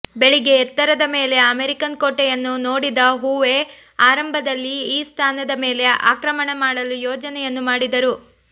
ಬೆಳಿಗ್ಗೆ ಎತ್ತರದ ಮೇಲೆ ಅಮೆರಿಕನ್ ಕೋಟೆಯನ್ನು ನೋಡಿದ ಹೋವೆ ಆರಂಭದಲ್ಲಿ ಈ ಸ್ಥಾನದ ಮೇಲೆ ಆಕ್ರಮಣ ಮಾಡಲು ಯೋಜನೆಯನ್ನು ಮಾಡಿದರು